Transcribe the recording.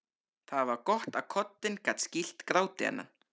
Það var gott að koddinn gat skýlt gráti hennar.